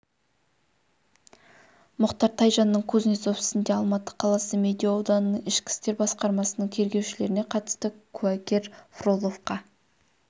мұхтар тайжанның кузнецов ісінде алматы қаласы медеу ауданының ішкі істер басқармасының тергеушілеріне қатысты куәгер фроловқа